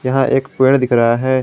यहां एक पेड़ दिख रहा है।